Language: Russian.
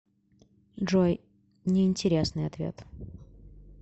джой неинтересный ответ